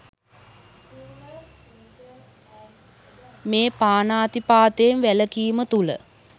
මේ පාණාතිපාතයෙන් වැළකීම තුළ